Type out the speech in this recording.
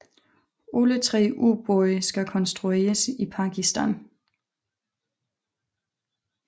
Alle tre ubåde skal konstrueres i Pakistan